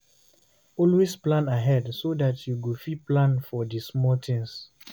Always plan ahead so dat you go fit plan for di small things